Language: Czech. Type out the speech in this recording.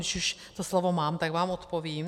Když už to slovo mám, tak vám odpovím.